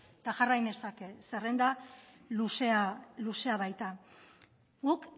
eta jarria nezake zerrenda luzea baita guk